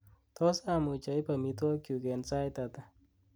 tos amuch oib amitwogikyuk en sait ata